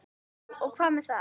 Jú, og hvað með það?